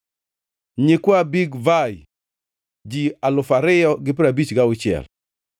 nyikwa Bigvai, ji alufu ariyo gi piero abich gauchiel (2,056),